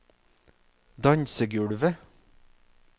dansegulvet